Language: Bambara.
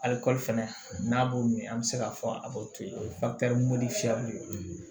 Aliko fɛnɛ n'a b'o min an be se k'a fɔ a b'o to yen o ye ye